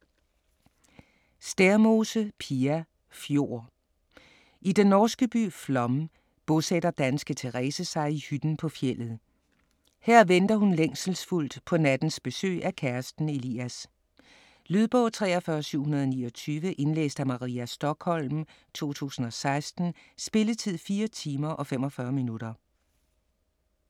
Stærmose, Pia: Fjord I den norske by Flåm bosætter danske Terese sig i hytten på fjeldet. Her venter hun længselsfuldt på nattens besøg af kæresten Elias. Lydbog 43729 Indlæst af Maria Stokholm, 2016. Spilletid: 4 timer, 45 minutter.